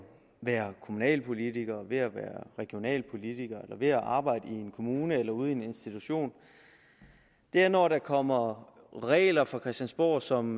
være kommunalpolitiker ved at være regionalpolitiker eller ved at arbejde i en kommune eller ude i en institution er når der kommer regler fra christiansborg som